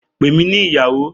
Pè mí ní ìyàwó!